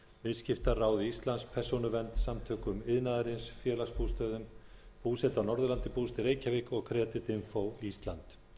viðskiptaráði íslands persónuvernd samtökum iðnaðarins félagsbústöðum búseta á norðurlandi búseta í reykjavík og creditinfo ísland